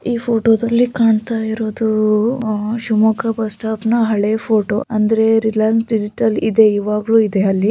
ಈ ಫೋಟೋ ದಲ್ಲಿ ಕಾಣ್ತಾ ಇರೋದು ಶಿವಮೊಗ್ಗ ಬಸ್ ಸ್ಟಾಪ್ ನ ಹಳೆ ಫೋಟೋ ಅಂದ್ರೆ ರಿಲಯನ್ಸ್ ಡಿಜಿಟಲ್ ಇದೆ ಇವಾಗ್ಲೂ ಇದೆ ಅಲ್ಲಿ --